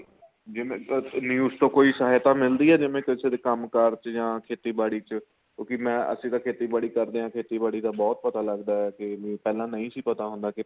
ਜਿਵੇਂ news ਤੋ ਕੋਈ ਸਹਾਇਤਾ ਮਿਲਦੀ ਏ ਜਿਵੇਂ ਕਿਸੇ ਦੇ ਕੰਮ ਕਾਰ ਚ ਜਾਂ ਖੇਤੀਬਾੜੀ ਚ ਕਿਉਂਕਿ ਮੈਂ ਅਸੀਂ ਆਂ ਖੇਤੀਬਾੜੀ ਕਰਦੇ ਆ ਖੇਤੀਬਾੜੀ ਦਾ ਬਹੁਤ ਪਤਾ ਲੱਗਦਾ ਕੇ ਪਹਿਲਾਂ ਨਹੀਂ ਸੀ ਪਤਾ ਹੁੰਦਾ